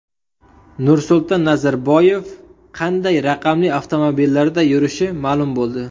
Nursulton Nazarboyev qanday raqamli avtomobillarda yurishi ma’lum bo‘ldi.